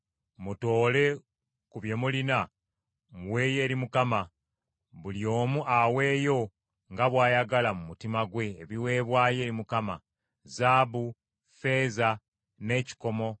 Mutoole ku bye mulina muweeyo eri Mukama . Buli omu aweeyo, nga bw’ayagala mu mutima gwe ebiweebwayo eri Mukama : “zaabu, ne ffeeza, n’ekikomo;